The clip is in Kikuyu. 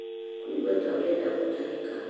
kũigua ta ũrenda gũtahĩka